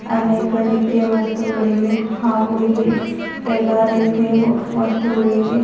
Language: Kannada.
ಅನೇಕ ರೀತಿಯ ವಸ್ತುಗಳಿವೆ ಹಾಗು ಇಲ್ಲಿ ಎಲ್ಲಾ ರೀತಿಯ ವಸ್ತುಗಳು ಇವೆ.